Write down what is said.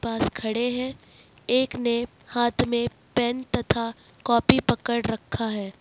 पास खड़े हैं एक ने हाथ में पेन तथा कॉपी पकड़ रखा है।